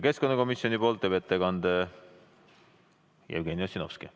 Keskkonnakomisjoni nimel teeb ettekande Jevgeni Ossinovski.